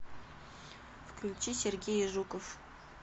включи сергей жуков